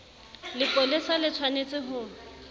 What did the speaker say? lepolesa le tsh wanetse ho